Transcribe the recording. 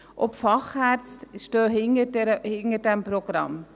Auch die Fachärzte stehen hinter diesem Programm.